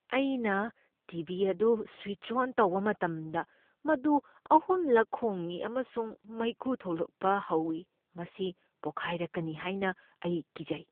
ꯑꯩꯅ T. V. ꯑꯗꯨ switch on ꯇꯧꯕ ꯃꯇꯝꯗ, ꯃꯗꯨ ꯑꯍꯨꯝꯂꯛ ꯈꯣꯡꯢ ꯑꯃꯁꯨꯡ ꯃꯩꯈꯨ ꯊꯣꯛꯂꯛꯄ ꯍꯧꯏ꯫ ꯃꯁꯤ ꯄꯣꯈꯥꯏꯔꯛꯀꯅꯤ ꯍꯥꯏꯅ ꯑꯩ ꯀꯤꯖꯩ꯫